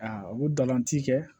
Aa u bɛ galan ti kɛ